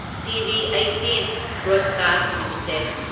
TV18 Broadcast limited